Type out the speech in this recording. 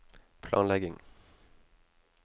planlegging